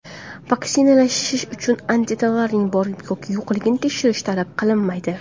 Vaksinatsiyalash uchun antitanalarning bor yoki yo‘qligini tekshirish talab qilinmaydi.